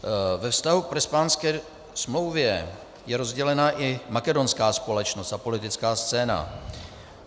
Ve vztahu k Prespanské smlouvě je rozdělena i makedonská společnost a politická scéna.